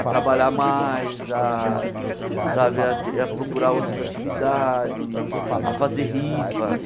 A trabalhar mais, a sabe a ter procurar outras atividades, a fazer rifa.